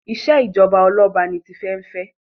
ìṣèjọba Ọlọba ní Tife n'fe.